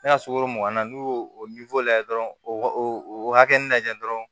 Ne ka sukaro mugan na n'u y'o o lajɛ dɔrɔn o hakɛnin na dɔrɔn